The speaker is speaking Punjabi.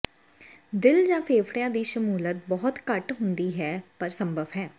ਦਿਲ ਜਾਂ ਫੇਫੜਿਆਂ ਦੀ ਸ਼ਮੂਲੀਅਤ ਬਹੁਤ ਘੱਟ ਹੁੰਦੀ ਹੈ ਪਰ ਸੰਭਵ ਹੈ